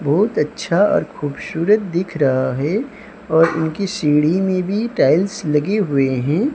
बहुत अच्छा ओर खूबसूरत दिख रहा है और उनकी सीढ़ी में भी टाइल्स लगे हुए हैं।